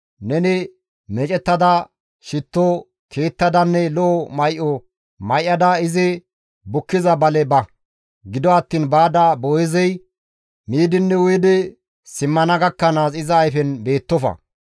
Neni meecettada, shitto tiyettadanne lo7o may7o may7ada izi bukkiza bale ba; gido attiin baada Boo7eezey miidinne uyidi simmana gakkanaas iza ayfen beettofa.